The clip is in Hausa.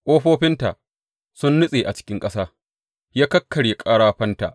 Ƙofofinta sun nutse a cikin ƙasa; ya kakkarya ƙarafanta.